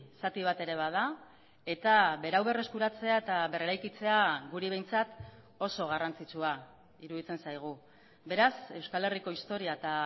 zati bat ere bada eta berau berreskuratzea eta berreraikitzea guri behintzat oso garrantzitsua iruditzen zaigu beraz euskal herriko historia eta